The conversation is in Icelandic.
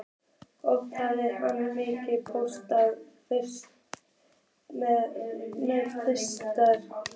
Oft hafði hann mikinn póst meðferðis.